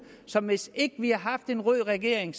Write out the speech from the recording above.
som hvis ikke vi havde haft en rød regering